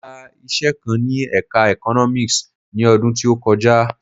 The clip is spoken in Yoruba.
Mo yá iṣẹ kan ní ẹka Economics ni ọdún tí ó kọjá.